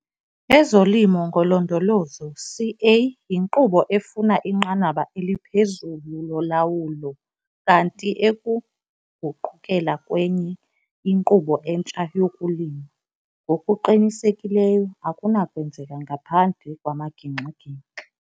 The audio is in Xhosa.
EzoLimo ngoLondolozo, CA, yinkqubo efuna inqanaba eliphezulu lolawulo kanti ekuguqukela kwenye inkqubo entsha yokulima, ngokuqinisekileyo, akunakwenzeka ngaphandle kwamagingxi-gingxi.